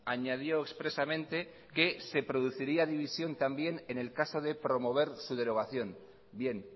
añadió expresamente que se produciría división también en el caso de promover su derogación bien